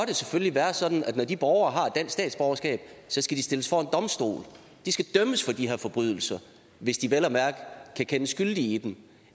det selvfølgelig være sådan at når de borgere har et dansk statsborgerskab så skal de stilles for en domstol de skal dømmes for de her forbrydelser hvis de vel at mærke kan kendes skyldige i dem